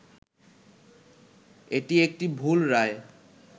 এটি একটি ‘ভুল’ রায়